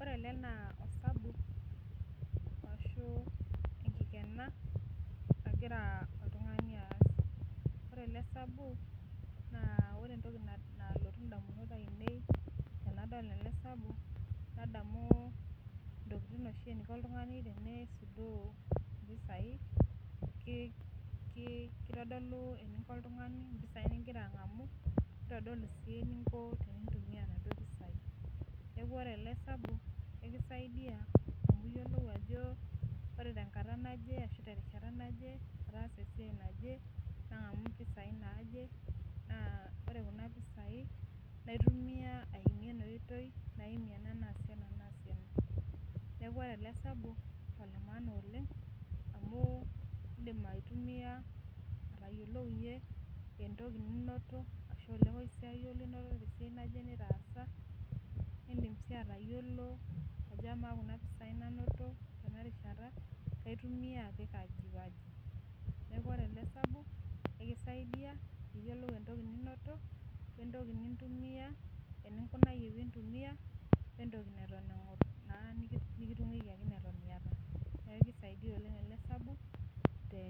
Ore ele naa osabu ashu enkikena nagira oltung'ani aas, ore ele sabu naa ore entoki na nalotu ndamunot ainei tenadol ele sabu nadamu intokitin oshi eniko oltung'ani teneisudoo impisai ki ki kitodolu eniko oltung'ani mpisai ning'ira ang'amu, nitodolu sii eninko tenintumia inaduo pisai. Neeku ore ele sabu kekisaidia amu iyiolou ajo ore tenkata naje ashu terishata naje ataasa esiai naje nang'amu impisai naaje naa ore kuna pisai naitumia aimie ena oitoi naimie ena naasie ena naasie ena. Neeku ore ele sabu naa ole maana oleng' amu iindim aitumia atayiolounye entoki ninoto ashu oloisiai ninoto te siai nitaasa niindim sii atayiolo ajo kamaa kuna pisai nanoto tena rishata kaitumia apik aji waji. Neeku ore ele sabu kisaidia piiyiolou entoki ninoto wentoki nintumia eninkunayie piintumia we entoki neton eng'or naa nekitung'wikiaki eton iyata. Neeku kisaidia oleng' ele sabu te